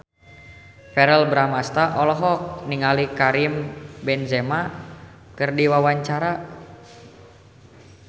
Verrell Bramastra olohok ningali Karim Benzema keur diwawancara